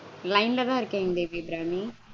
Line -தா இருக்கேங் தேவி அபிராமி